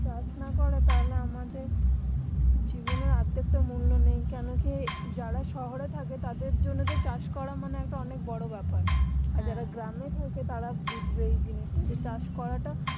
চাষ না করে তাহলে আমাদের জীবনের অর্ধেক টা মূল্য নেই কেন কি যারা শহরে থাকে তাদের জন্য তো চাষ করা মানে একটা অনেক বড়ো বেপার আর হ্যাঁ যারা গ্রামে থাকে তারা বুজবে ই এই জিনিসটা চাষ করাটা